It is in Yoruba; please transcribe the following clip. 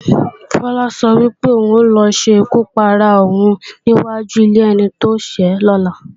Fọlá sọ wípé, òun ò lọ ṣekú para òun ní wáju ilé ẹni tóṣẹ́ lọ́la